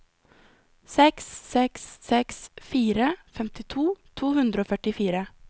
seks seks seks fire femtito to hundre og førtifire